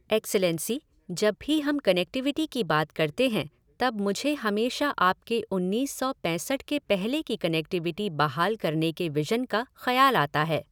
Excellency, जब भी हम कनेक्टिविटी की बात करते हैं तब मुझे हमेशा आपके उन्नीस सौ पैंसठ के पहले की कनेक्टिविटी बहाल करने के विज़न का ख़याल आता है।